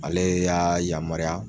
Ale y'a yamaruya.